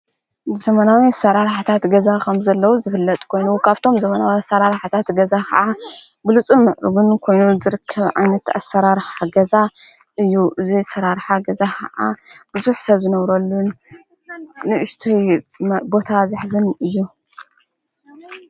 ዘመናዊ ኣሠራር ኅታት ገዛ ኸም ዘለዉ ዝፍለጥ ኮይኑ ካብቶም ዘመናዊ ኣሠራር ኃታት ገዛ ኸዓ ብሉፁን ምዕርጕን ኮይኑ ዘርክብዓን ተኣሠራርሓገዛ እዩ ። እዙይ ሠራርሓገዛ ኸዓ ብዙኅ ሰብ ዝነብረሉን ንእሽተይ ቦታ ዘኅዝን እዩ።